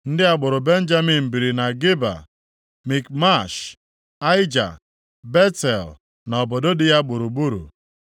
Ndị agbụrụ Benjamin biri na Geba, Mikmash, Aija, Betel na obodo dị ya gburugburu,